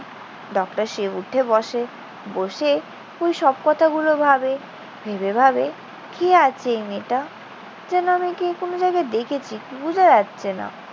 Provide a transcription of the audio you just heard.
Doctor Shiv উঠে বসে। বসে ওই সব কথাগুলো ভাবে। ভেবে ভাবে কি আছে এই মেয়েটা? যেন আমি একে কোন জায়গায় দেখেছি। বুঝা যাচ্ছে না।